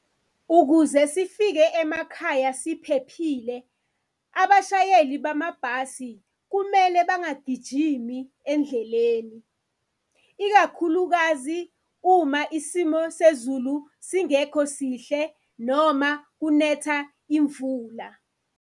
Ukuze sifike emakhaya siphephile, abashayeli bamabhasi kumele bangagijimi endleleni ikakhulukazi uma isimo sezulu singekho sihle noma kunetha imvula.